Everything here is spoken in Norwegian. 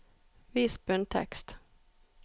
Vis bunntekst